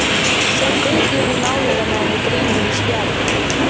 Set Bylgju inn í málið á meðan ég dríf mig í spjarirnar.